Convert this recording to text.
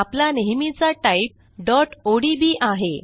आपला नेहमीचा type odb आहे